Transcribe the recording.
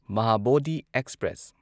Mahabodhi express